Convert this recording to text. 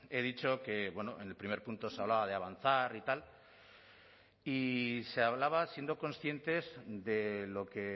he dicho que en el primer punto se hablaba de avanzar y tal y se hablaba siendo conscientes de lo que